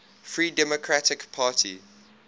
free democratic party